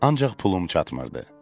Ancaq pulum çatmırdı.